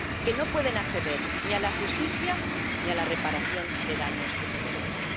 Que no pueden acceder ni a la justicia ni a la reparación de daños que se merecen.